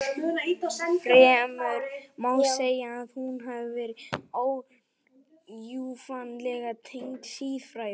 Fremur má segja að hún hafi verið órjúfanlega tengd siðfræði.